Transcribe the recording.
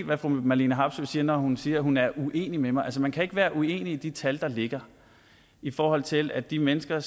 hvad fru marlene harpsøe siger når hun siger at hun er uenig med mig man kan ikke være uenig i de tal der ligger i forhold til at de mennesker